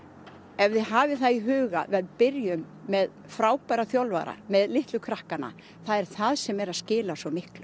ef þið hafið það í huga þá byrjum með frábæra þjálfara með litlu krakkana það er það sem er að skila svo miklu